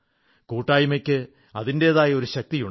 കൂട്ടായ്മയ്ക്ക് അതിന്റേതായ ഒരു ശക്തിയുണ്ട്